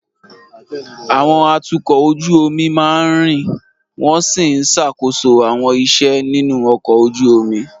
Àwọn atukọ̀ ojú omi máa ń rìn wọ́n sì ń ṣàkóso àwọn iṣẹ́ nínú ọkọ̀ ojú omi.